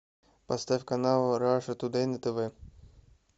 поставь канал раша тудэй на тв